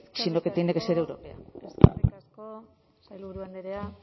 sino que tiene que ser europea eskerrik asko eskerrik asko sailburu andrea